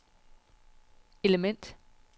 element